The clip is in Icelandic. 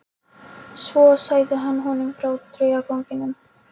Svo sagði hann honum frá draugaganginum.